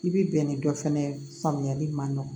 I bi bɛn ni dɔ fɛnɛ ye faamuyali ma nɔgɔn